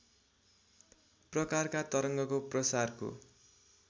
प्रकारका तरङ्गको प्रसारको